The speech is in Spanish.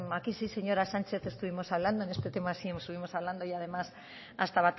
aquí sí señora sánchez estuvimos hablando en este tema sí estuvimos hablando y además hasta